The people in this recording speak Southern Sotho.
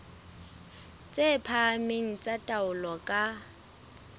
tse phahameng tsa taolo ka